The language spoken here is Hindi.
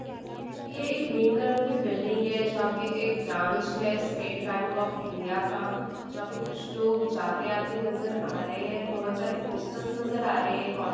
ये एक ग्रीन कलर की बिल्डिंग है जहाँ पे एक ब्रांच है स्टेट बेंक ऑफ़ इंडिया का जहाँ पे कुछ लोग जाते-आते नजर आ रहे हैं बहुत सारे पोस्टर्स नजर आ रहे हैं एक --